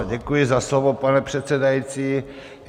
Ano, děkuji za slovo, pane předsedající.